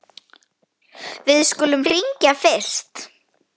Við skulum hringja fyrst.